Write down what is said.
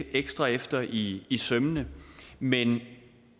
ekstra efter i i sømmene men